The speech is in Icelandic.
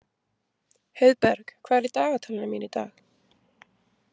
Heiðberg, hvað er í dagatalinu mínu í dag?